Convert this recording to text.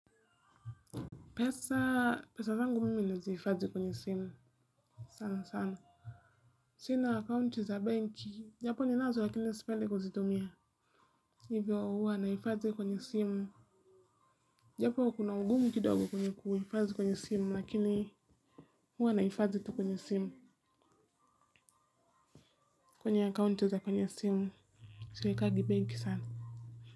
Pesa, pesa zangu mimi ninazihifadhi kwenye simu. Sana sana. Sina account za bank, japo ninazo lakini sipendi kuzitumia. Hivyo huwa nahifadhi kwenye simu. Japo kuna ugumu kidogo kwenye kuhifadhi kwenye simu lakini huwa nahifadhi tu kwenye simu. Kwenye account za kwenye simu. Siwekangi benki sana.